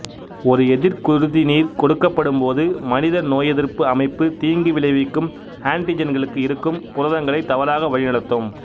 ஒரு எதிர்குருதிநீர் கொடுக்கப்படும்போது மனித நோயெதிர்ப்பு அமைப்பு தீங்கு விளைவிக்கும் ஆன்டிஜென்களுக்கு இருக்கும் புரதங்களைத் தவறாக வழிநடத்தும்